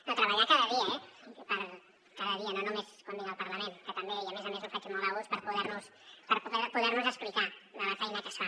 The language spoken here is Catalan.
no treballar cada dia eh cada dia no només quan vinc al parlament que també i a més a més ho faig molt a gust per poder nos explicar la feina que es fa